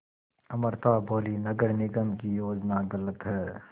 अमृता बोलीं नगर निगम की योजना गलत है